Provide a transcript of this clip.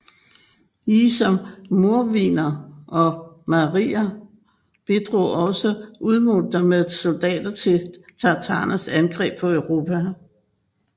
Lige som mordviner og marier bidrog også udmurter med soldater til tatarernes angreb på Europa